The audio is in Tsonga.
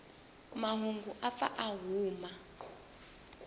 mahungu u pfa a huma